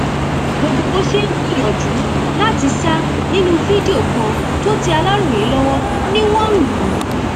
gbogbo bó ṣe ń gbìyànjú láti sá nínú fídíò kan tó tẹ aláròye lọwọ ni wọn ń lù ú